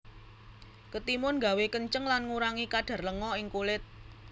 Ketimun gawé kenceng lan gurangi kadar lenga ing kulit